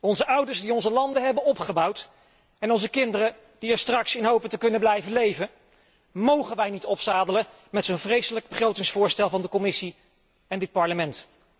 Onze ouders die onze landen hebben opgebouwd en onze kinderen die er straks in hopen te kunnen blijven leven mogen wij niet opzadelen met zo'n vreselijk begrotingsvoorstel van de Commissie en dit Parlement.